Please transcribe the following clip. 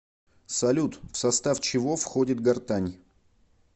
салют в состав чего входит гортань